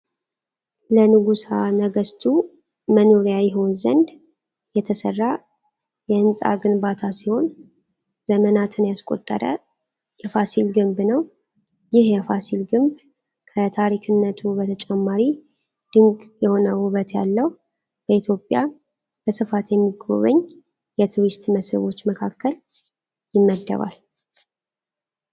ለነጉሳ ነገስቱ መኖርያ ይሆን ዘንድ የተሰራ የ ህንጻ ግንባታ ሲሆን ዘመናትን ያስቆጠረ የፋሲል ግንብ ነው ይህ የፋሲል ግንብ ከታሪክነቱ በተጨማሪ ድንቅ የሆነ ውበት ያለው በኢትዮጵያ በስፋት ከሚጎበኙ የቱሪስት መስህቦች መካከል ይመደባል።